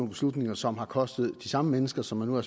beslutninger som har kostet de samme mennesker som man nu er